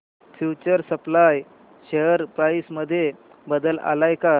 future supply share price मध्ये बदल आलाय का